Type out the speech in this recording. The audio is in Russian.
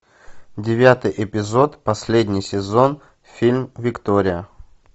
девятый эпизод последний сезон фильм виктория